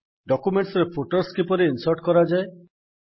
ଡକ୍ୟୁମେଣ୍ଟ୍ସରେ footers କିପରି insert କରାଯାଏ